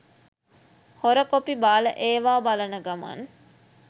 හොර කොපි බාල ඒව බලන ගමන්